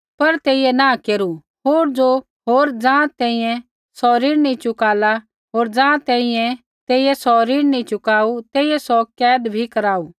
पर तेइयै नाँह केरू होर ज़ाँ तैंईंयैं तेइयै सौ ऋण नी चुकाऊ तेइयै सौ कैद भी कराऊ